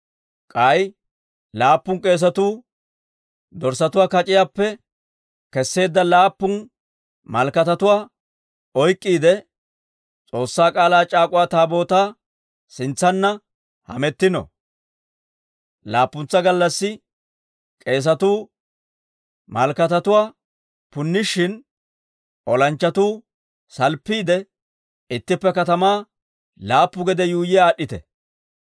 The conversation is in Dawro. K'ay laappun k'eesatuu dorssatuwaa kac'iyaappe kesseedda laappun malakatatuwaa oyk'k'iide, S'oossaa K'aalaa c'aak'uwa Taabootaa sintsanna hamettino. Laappuntsa gallassi k'eesatuu malakatatuwaa punnishin, olanchchatuu salppiide, ittippe katamaa laappu gede yuuyyi aad'd'ite.